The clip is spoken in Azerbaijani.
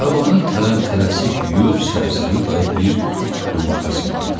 Tavanı tələmtələsik yuyub Səbzəli dayı bir yumurta sındırdı.